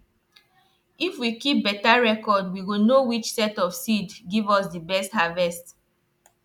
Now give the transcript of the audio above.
if we keep beta reocrd we go know which set of seed give us di best harvest